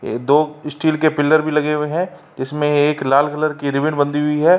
ए दो स्टील के पिलर भी लगे हुए हैं जीसमें एक लाल कलर की रिबन बंधी हुई है।